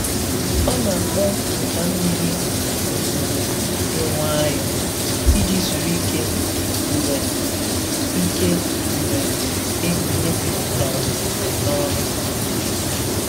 Ọ na-akpọ ụda mmiri ozuzo dị nwayọọ iji zuru ike mgbe ike mgbe ehihie jupụtara n’ọrụ.